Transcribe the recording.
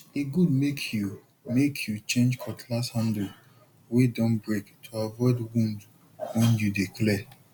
e good make you make you change cutlass handle wey don break to avoid wound when you dey clear